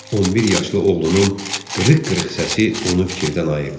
11 yaşlı oğlunun qırıq-qırıq səsi onu fikirdən ayırdı.